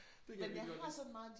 Det kan jeg virkelig godt lide